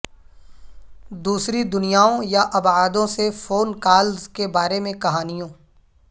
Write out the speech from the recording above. دوسری دنیاوں یا ابعادوں سے فون کالز کے بارے میں کہانیوں